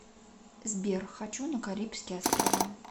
сбер хочу на карибские острава